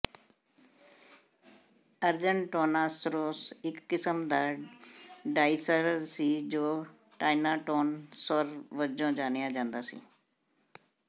Argentinosaurus ਇਕ ਕਿਸਮ ਦਾ ਡਾਇਸਰਰ ਸੀ ਜੋ ਟਾਇਟੋਨਸੌਰ ਵਜੋਂ ਜਾਣਿਆ ਜਾਂਦਾ ਸੀ